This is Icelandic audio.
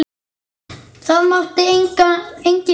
Það mátti enginn sjá það.